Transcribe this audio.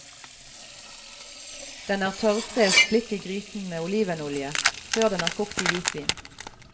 Den er tørrfrest litt i gryten med olivenolje, før den er kokt i hvitvin.